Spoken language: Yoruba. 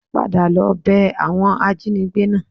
Padà lọ bẹ àwọn ajínigbé náà